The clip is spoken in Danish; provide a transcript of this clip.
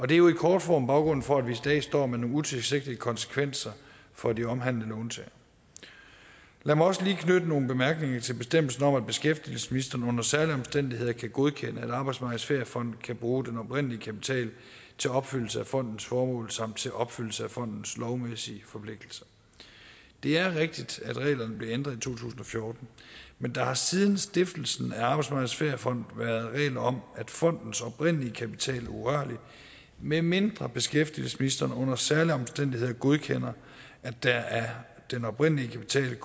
det er jo i kort form baggrunden for at vi i dag står med nogle utilsigtede konsekvenser for de omhandlede låntagere lad mig også lige knytte nogle bemærkninger til bestemmelsen om at beskæftigelsesministeren under særlige omstændigheder kan godkende at arbejdsmarkedets feriefond kan bruge den oprindelige kapital til opfyldelse af fondens formål samt til opfyldelse af fondens lovmæssige forpligtelser det er rigtigt at reglerne blev ændret i to tusind og fjorten men der har siden stiftelsen af arbejdsmarkedets feriefond været regler om at fondens oprindelige kapital er urørlig medmindre beskæftigelsesministeren under særlige omstændigheder godkender at der af den oprindelige kapital kan